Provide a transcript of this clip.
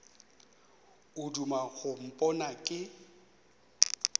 o duma go mpona ke